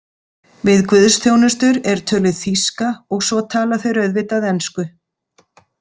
Við guðsþjónustur er töluð þýska og svo tala þeir auðvitað ensku.